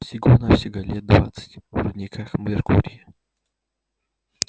всего-навсего лет двадцать в рудниках меркурия